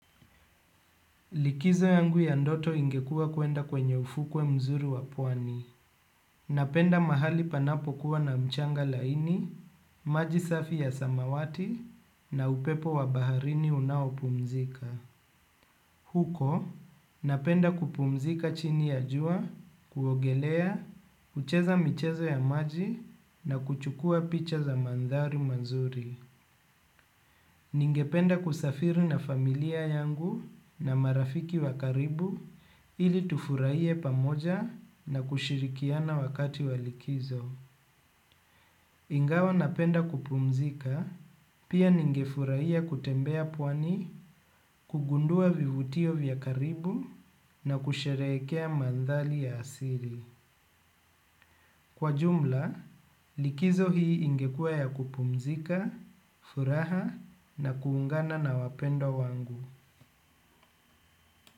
Likizo yangu ya ndoto ingekua kwenda kwenye ufukwe mzuri wa pwani. Napenda mahali panapokuwa na mchanga laini maji safi ya samawati na upepo wa baharini unao pumzika. Huko, napenda kupumzika chini ya jua, kuogelea, kucheza michezo ya maji na kuchukua picha za maandhari mazuri. Ningependa kusafiri na familia yangu na marafiki wa karibu ili tufurahie pamoja na kushirikiana wakati wa likizo. Ingawa napenda kupumzika, pia ningefurahia kutembea pwani kugundua vivutio vya karibu na kusherehekea maandhari ya asili. Kwa jumla, likizo hii ingekua ya kupumzika, furaha na kuungana na wapendwa wangu.